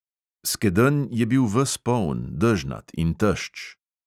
Skedenj je bil ves poln, dežnat in tešč.